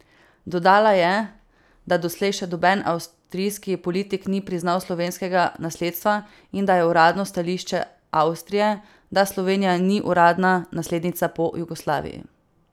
Dodala je, da doslej še noben avstrijski politik ni priznal slovenskega nasledstva in da je uradno stališče Avstrije, da Slovenija ni uradna naslednica po Jugoslaviji.